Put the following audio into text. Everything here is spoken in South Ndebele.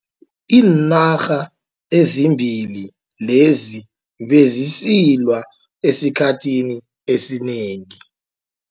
Iinarha ezimbili lezi bezisilwa esikhathini esinengi.